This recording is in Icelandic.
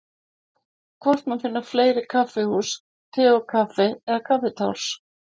Hvort má finna fleiri kaffihús Te og Kaffi eða Kaffitárs?